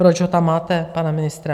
Proč ho tam máte, pana ministra?